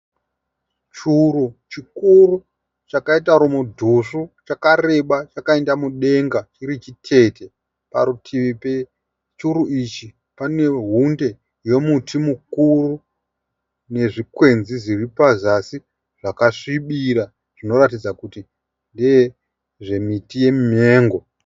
Churu chikuru chakaita rudhosvo chakareba chakaenda mudenga. Chirichitete. Parutivi pechuru ichi pane hunde yomuti mukuru nezvikwenzi zviripazasi zvakasvibira zvinoratidza kuti ndezvemiti yemumengo.